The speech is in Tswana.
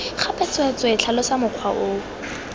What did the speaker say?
gape tsweetswee tlhalosa mokgwa oo